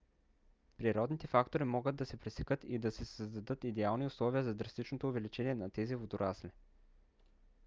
природните фактори могат да се пресекат и да се създадат идеални условия за драстичното увеличение на тези водорасли